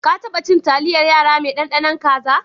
Ka taba cin taliyar yara mai ɗanɗanon kaza?